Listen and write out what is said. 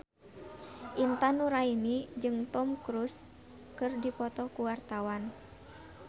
Intan Nuraini jeung Tom Cruise keur dipoto ku wartawan